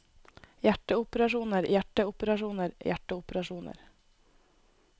hjerteoperasjoner hjerteoperasjoner hjerteoperasjoner